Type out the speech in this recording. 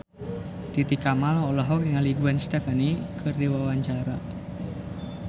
Titi Kamal olohok ningali Gwen Stefani keur diwawancara